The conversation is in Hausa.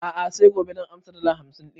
A'a sai gobe zan ansa dala hamsin ɗin